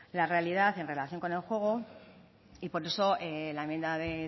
la realidad en relación con el juego y por eso la enmienda de